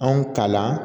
Anw kalanna